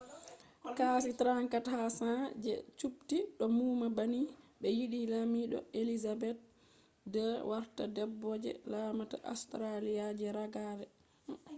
kashi 34 ha 100 je subti do numa banni be yidi lamido elizabeth ii warta debbo je laamata australia je ragare